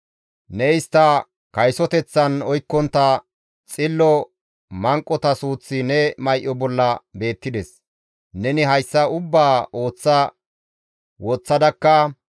Ne istta kaysoteththan oykkontta xillo manqota suuththi ne may7o bolla beettides. Neni hayssa ubbaa ooththa woththadakka,